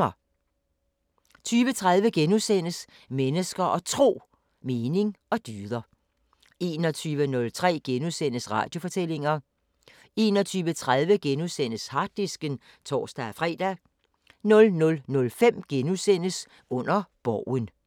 20:30: Mennesker og Tro: Mening og dyder * 21:03: Radiofortællinger * 21:30: Harddisken *(tor-fre) 00:05: Under Borgen *